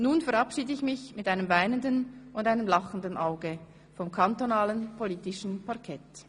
Nun verabschiede ich mich mit einem weinenden und einem lachendem Auge vom kantonalen politischen Parkett.